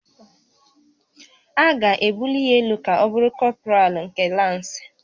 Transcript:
A ga-ebuli ya elu ka ọ bụrụ kọpralụ nke lansị